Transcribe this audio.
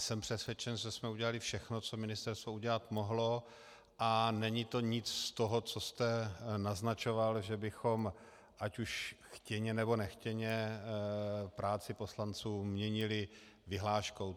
Jsem přesvědčen, že jsme udělali všechno, co ministerstvo udělat mohlo, a není to nic z toho, co jste naznačoval, že bychom ať už chtěně, nebo nechtěně práci poslanců měnili vyhláškou.